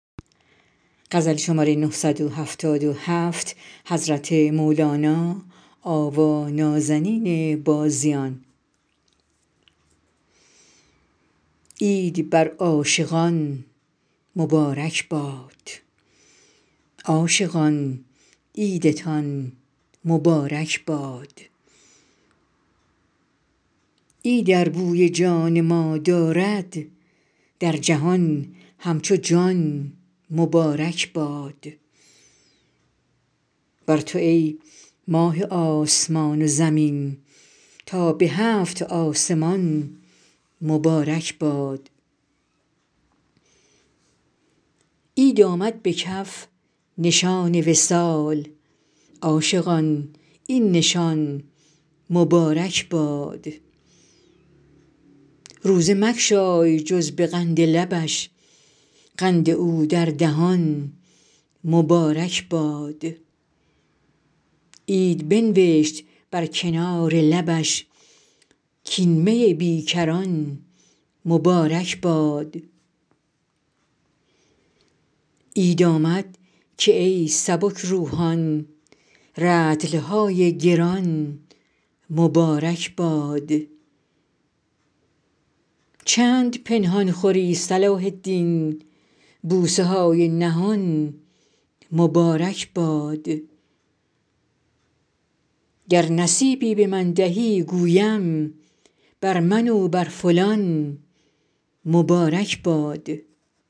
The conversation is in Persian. عید بر عاشقان مبارک باد عاشقان عیدتان مبارک باد عید ار بوی جان ما دارد در جهان همچو جان مبارک باد بر تو ای ماه آسمان و زمین تا به هفت آسمان مبارک باد عید آمد به کف نشان وصال عاشقان این نشان مبارک باد روزه مگشای جز به قند لبش قند او در دهان مبارک باد عید بنوشت بر کنار لبش کاین می بی کران مبارک باد عید آمد که ای سبک روحان رطل های گران مبارک باد چند پنهان خوری صلاح الدین بوسه های نهان مبارک باد گر نصیبی به من دهی گویم بر من و بر فلان مبارک باد